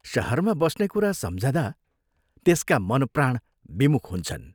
शहरमा बस्ने कुरा सम्झदा त्यसका मनप्राण विमुख हुन्छन्।